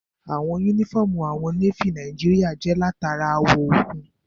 Àwọ̀ yúnífọ́ọ̀mù àwọn Nééfì Nàìjíríyà jẹ́ látara àwọ̀ òkun